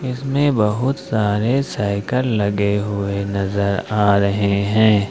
इसमें बहुत सारे साइकल लगे हुए नजर आ रहे है।